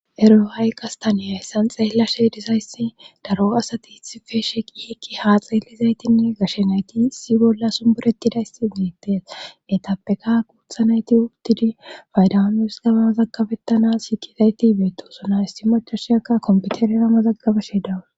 ero haay qastaniya hessan xeella she disayssi daro asati itife sheqiheki haa xeelizaytinne gashe nayti issi bolla sumburetidaysi iittes etapeka kuutha nayti ugtidi faydawmes gabaazaggabettanas shikizayti ibeetosuna issi macasheakka kompiterera ma zaggabashe dawus